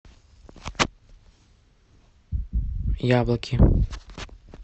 яблоки